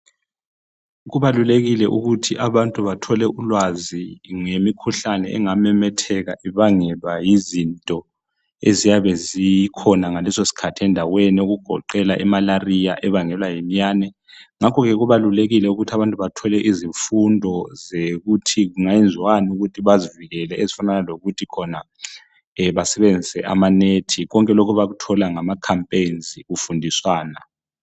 Kubalulekile ukuthi abantu bathole ulwazi ngemikhuhlane engamemetheka ibangelwa yizinto eziyabe zikhona ngaleso sikhathi endaweni okugoqela iMalaria ebangelwa yiminyane, ngakho ke kubalulekile ukuthi abantu bathole izifundo zokuthi kungenziwani ukuthi bazivikele ezifanana lokuthi khona basebenzise amanethi konke lokhu bakuthola ngama campaigns kufundiswana.